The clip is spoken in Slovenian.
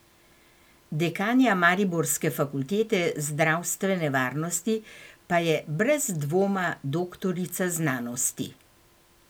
Dekanja mariborske fakultete zdravstvene varnosti pa je brez dvoma doktorica znanosti.